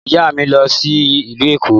Ìyá mi ń lọ sí ìlú Èkó